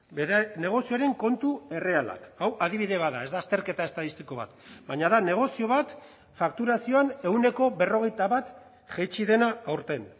bere negozioaren kontu errealak hau adibide bat da ez da azterketa estatistiko bat baina da negozio bat fakturazioan ehuneko berrogeita bat jaitsi dena aurten